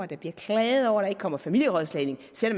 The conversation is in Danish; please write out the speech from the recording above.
der bliver klaget over at der ikke kommer familierådslagning selv